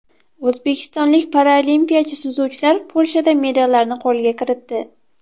O‘zbekistonlik paraolimpiyachi suzuvchilar Polshada medallarni qo‘lga kiritdi.